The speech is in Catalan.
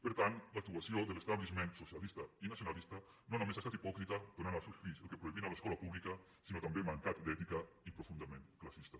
per tant l’actuació de l’establishment socialista i nacionalista no només ha estat hipòcrita donant als seus fills el que prohibien a l’escola pública sinó també mancat d’ètica i profundament classista